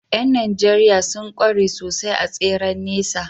’Yan Najeriya sun kware sosai a tseren nesa